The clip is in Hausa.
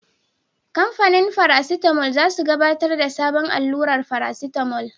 Kamfanin farasitamol za su gabatar da sabon allurar farasitamol.